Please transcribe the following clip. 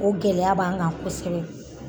O gɛlɛya b'an kan kosɛbɛ.